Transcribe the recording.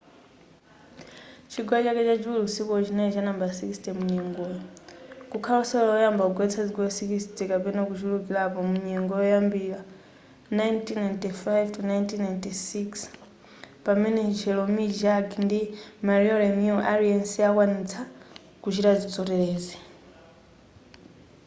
chigoli chake chachiwiri usikuwo chinali cha nambala 60 munyengoyo kukhala osewera oyamba kugoletsa zigoli 60 kapena kuchulukilapo mu nyengo kuyambira 1995-96 pamene jaromir jagr ndi mario lemieux aliyese anakwanitsa kuchita zoterezi